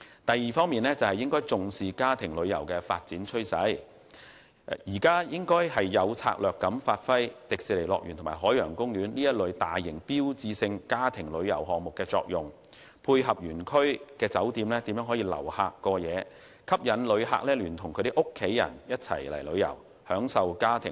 第二，應重視家庭旅遊的發展趨勢，有策略地發揮迪士尼樂園及海洋公園這一類大型標誌性家庭旅遊項目的作用，配合園區酒店留客過夜，吸引遊客舉家到港旅遊消費，盡享家庭樂。